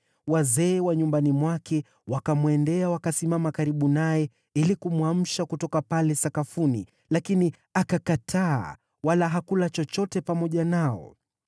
Wazee wa nyumbani mwake wakamwendea wakasimama karibu naye ili kumwamsha kutoka pale sakafuni, lakini akakataa, wala hakula chochote pamoja nao.